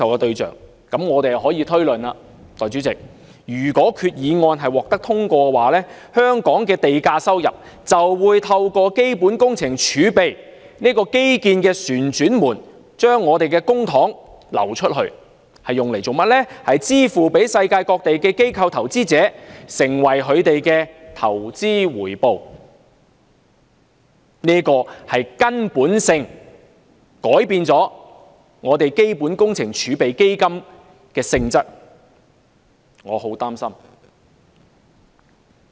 代理主席，那麼我們便可以推論，如果擬議決議案獲得通過，香港的地價收入——亦即我們的公帑——將會透過基本工程儲備基金這個"基建旋轉門"而流出，用作支付世界各地的機構投資者，成為他們的投資回報，這會根本地改變基本工程儲備基金的性質，這使我相當擔心。